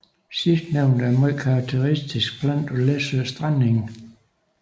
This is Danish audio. Sidstnævnte er en meget karakteristisk plante for Læsøs strandenge